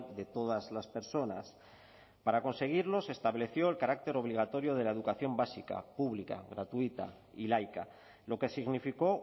de todas las personas para conseguirlo se estableció el carácter obligatorio de la educación básica pública gratuita y laica lo que significó